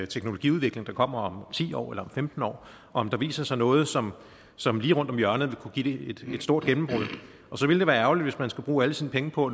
teknologiudvikling der kommer om ti år eller om femten år om der viser sig noget som som lige rundt om hjørnet vil kunne give et stort gennembrud så ville det være ærgerligt hvis man skulle bruge alle sine penge på